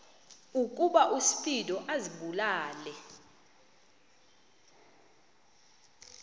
ukuba uspido azibulale